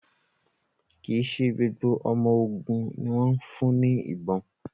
Kí ṣe gbogbo ọmọ ògún ní wón fún ní ìbọn